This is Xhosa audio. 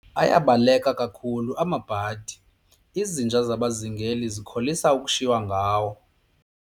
Ayabaleka kakhulu amabhadi, izinja zabazingeli zikholisa ukushiywa ngawo.